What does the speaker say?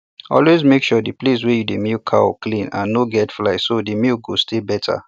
always make sure the place wey you dey milk cow clean and no get fly so the milk go stay better